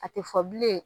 A tɛ fɔ bilen